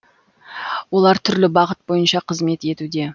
олар түрлі бағыт бойынша қызмет етуде